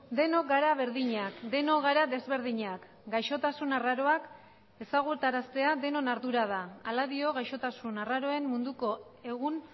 denok gara berdinak denok gara desberdinak gaixotasun arraroak ezagutaraztea denon ardura da hala dio gaixotasun arraroen munduko egun